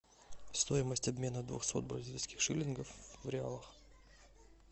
стоимость обмена двухсот бразильских шиллингов в реалах